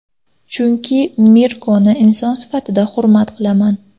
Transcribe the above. Chunki Mirkoni inson sifatida hurmat qilaman.